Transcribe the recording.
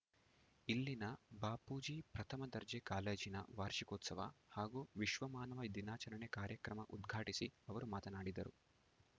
ಇಲ್ಲಿನ ಬಾಪೂಜಿ ಪ್ರಥಮ ದರ್ಜೆ ಕಾಲೇಜಿನ ವಾರ್ಷಿಕೋತ್ಸವ ಹಾಗೂ ವಿಶ್ವಮಾನವ ದಿನಾಚರಣೆ ಕಾರ್ಯಕ್ರಮ ಉದ್ಘಾಟಿಸಿ ಅವರು ಮಾತನಾಡಿದರು